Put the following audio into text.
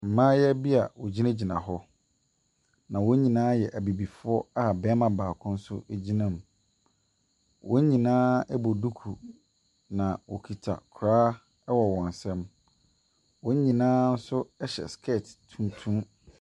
Mmayeaa bi a wɔgyinagyina hɔ na wɔn nynaa yɛ abibifoɔ a barima baako nso gyina mu. Wɔn nyinaa bɔ duku, na wɔkita kora wɔ wɔn nsam. Wɔn nyinaa nso hyɛ spɛɛs.